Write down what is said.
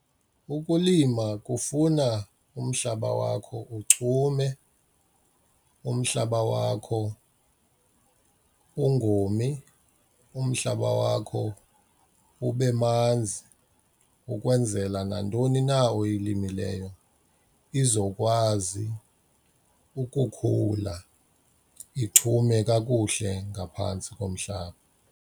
Ukulima kufuna umhlaba wakho uchume, umhlaba wakho ungomi, umhlaba wakho ube manzi ukwenzela nantoni na oyilimileyo izokwazi ukukhula ichume kakuhle ngaphantsi komhlaba.